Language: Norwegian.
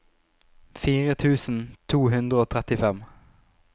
fire tusen to hundre og trettifem